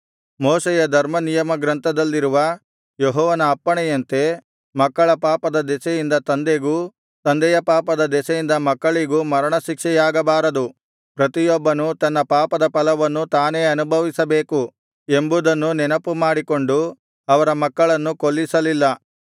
ಮೋಶೆಯ ಧರ್ಮನಿಯಮಗ್ರಂಥದಲ್ಲಿರುವ ಯೆಹೋವನ ಅಪ್ಪಣೆಯಂತೆ ಮಕ್ಕಳ ಪಾಪದ ದೆಸೆಯಿಂದ ತಂದೆಗೂ ತಂದೆಯ ಪಾಪದ ದೆಸೆಯಿಂದ ಮಕ್ಕಳಿಗೂ ಮರಣಶಿಕ್ಷೆಯಾಗಬಾರದು ಪ್ರತಿಯೊಬ್ಬನೂ ತನ್ನ ಪಾಪಫಲವನ್ನು ತಾನೇ ಅನುಭವಿಸಬೇಕು ಎಂಬುದನ್ನು ನೆನಪುಮಾಡಿಕೊಂಡು ಅವರ ಮಕ್ಕಳನ್ನು ಕೊಲ್ಲಿಸಲಿಲ್ಲ